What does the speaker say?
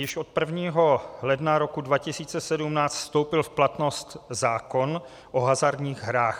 Již od 1. ledna roku 2017 vstoupil v platnost zákon o hazardních hrách.